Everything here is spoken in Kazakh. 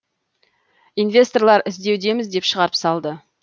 инвесторлар іздеудеміз деп шығарып салды